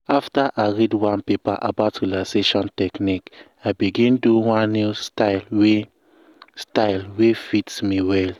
after i read one paper about relaxation technique i begin do one new style wey style wey fit me well. um